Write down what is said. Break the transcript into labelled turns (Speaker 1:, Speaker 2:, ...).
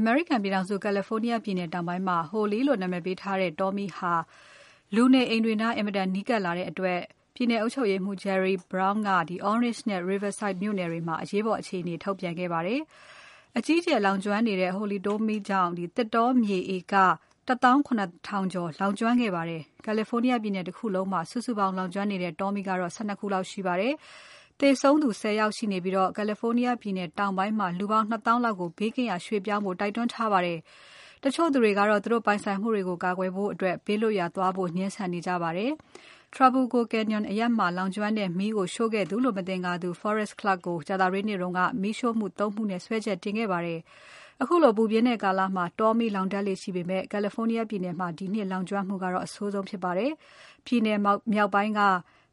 Speaker 1: အမေရိကန်ပြည်ထောင်စု California တောင်ပိုင်းမှာ Holy လို့နာမည်ပေးထားတဲ့ တောမီး ဟာ လူနေအိမ်တွေနား အင်မတန်နီးကပ်လာတဲ့အတွက် ပြည်နယ်အုပ်ချုပ်ရေးမှူး Jerry Brown က Orange နဲ့ Riverside မြို့နယ်တွေမှာ အရေးပေါ်အခြေအနေ ထုတ်ပြန်ခဲ့ပါတယ်။ အကြီးအကျယ် လောင်ကျွမ်းနေတဲ့ Holy တောမီးကြောင့် သစ်တောမြေဟက်တာ ၇ ကျော်လောင်ကျွမ်းခဲ့ပါတယ်။ California ပြည်နယ်တခုလုံးမှာ စုစုပေါင်း လောင်ကျွမ်းနေတဲ့ တောမီးပေါင်းက ၁၂ ခုလောက်ရှိပါတယ်။ သေဆုံးသူ ၁၀ ယောက်ရှိနေပြီး California ပြည်နယ်တောင်ပိုင်းမှာ လူပေါင်း ၂ သောင်းလောက်ကို ဘေးကင်းရာ ရွှေ့ပြောင်းကြဖို့ တိုက်တွန်းထားပါတယ်။ တချို့သူတွေကတော့ သူတို့ပိုင်ဆိုင်မှုတွေကို ကာကွယ်ဖို့အတွက် ဘေးလွတ်ရာ သွားဖို့ ငြင်းဆန်နေကြပါတယ်။ Trabuco Canyon အရပ်မှာလောင်ကျွမ်းတဲ့ မီးကိုရှို့ခဲ့သူလို့ မသင်္ကာသူ Forrest Clark ကို ကြာသပတေးနေ့က မီးရှို့မှု ၃ ခုနဲ့ စွဲချက်တင်ခဲ့ပါတယ်။ ခုလိုပူပြင်းတဲ့ကာလမှာ တောမီးလောင်တတ်လေ့ရှိပေမဲ့ California ပြည်နယ်မှာ ဒီနှစ်လောင်ကျွမ်းမှုကတော့ အဆိုးဆုံးဖြစ်ပါတယ်။ ပြည်နယ်မြောက်ပိုင်းက